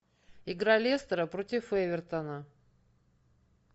игра лестера против эвертона